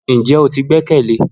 Njẹ o ti gbẹkẹle?